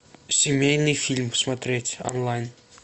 семейный фильм смотреть онлайн